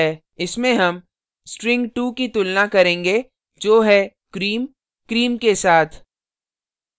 इसमें हम string2 की तुलना करेंगे जो है cream cream के साथ